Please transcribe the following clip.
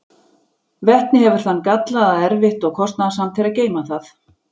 Vetni hefur þann galla að erfitt og kostnaðarsamt er að geyma það.